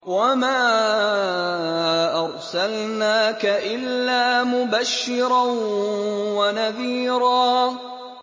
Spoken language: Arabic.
وَمَا أَرْسَلْنَاكَ إِلَّا مُبَشِّرًا وَنَذِيرًا